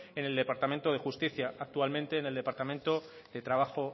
en el departamento de justicia actualmente en el departamento de trabajo